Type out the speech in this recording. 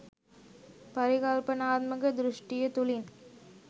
පරිකල්පනාත්මක දෘෂ්ටිය තුළින්